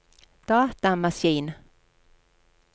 datamaskin